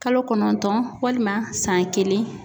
Kalo kɔnɔntɔn walima san kelen.